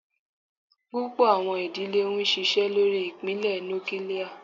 Púpọ̀ àwọn ìdílé ń ṣiṣẹ́ lórí ìpìlẹ̀ núkílíà.